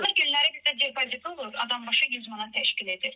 Həftə içi günləri bizdə depozit olur, adambaşı 100 manat təşkil edir.